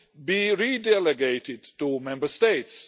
be re-delegated to Member States.